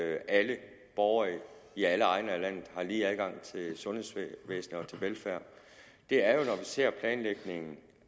alle borgere i alle egne af landet har lige adgang til sundhedsvæsenet og til velfærd er jo ser planlægningen